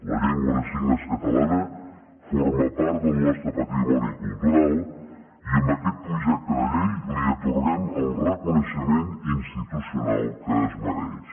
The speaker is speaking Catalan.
la llengua de signes catalana forma part del nostre patrimoni cultural i amb aquest projecte de llei li atorguem el reconeixement institucional que es mereix